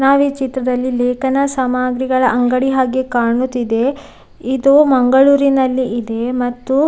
ನಾವೀ ಚಿತ್ರದಲ್ಲಿ ಲೇಖನ ಸಾಮಗ್ರಿಗಳ ಅಂಗಡಿ ಹಾಗೆ ಕಾಣುತ್ತಿದೆ ಇದು ಮಂಗಳೂರಿನಲ್ಲಿ ಇದೆ ಮತ್ತು --